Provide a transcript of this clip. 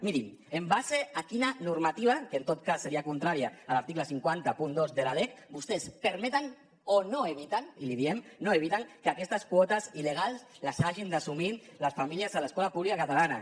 mirin en base a quina normativa que en tot cas seria contrària a l’article cinc cents i dos de la lec vostès permeten o no eviten i li diem no eviten que aquestes quotes il·legals les hagin d’assumir les famílies a l’escola pública catalana